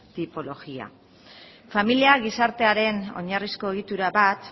tipología familia gizartearen oinarrizko egitura bat